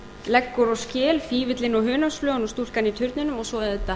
leggur og skel fífillinn og hunangsflugan og stúlkan í turninum og svo auðvitað